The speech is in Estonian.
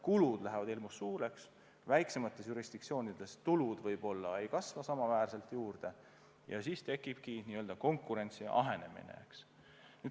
Kulud lähevad hirmus suureks ja väiksemates jurisdiktsioonides tulud võib-olla ei kasva samaväärselt juurde ja siis tekibki konkurentsi ahenemine.